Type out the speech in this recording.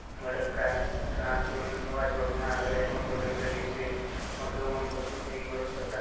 बड़े काय रॉड चो लाइट मन बले जललीसे लोग मन बसुन करी बले बसला से --